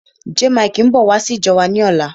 Jaymikee ń bọ̀ wá sí ìjọ wa ni ọ̀la.